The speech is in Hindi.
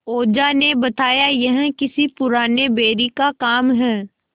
ओझा ने बताया यह किसी पुराने बैरी का काम है